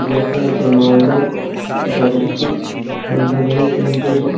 লেখা আছে মালদহ ডাকরিত্রি মালদহ নিউ সেঞ্চুরি ।